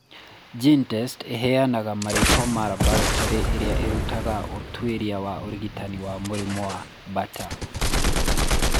GeneTests ĩheanaga marĩĩtwa ma laboratory iria irutaga ũtuĩria wa ũrigitani wa mũrimũ wa Bartter.